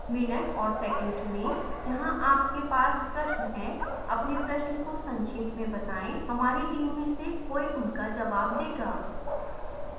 minute और second चुनें जहां आपके पास प्रश्न है अपने प्रश्न को संक्षेप में बताएं हमारी टीम में से कोई उनका जवाब देगा